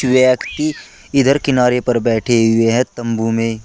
व्यक्ति इधर किनारे पर बैठे हुए हैं तंबू में।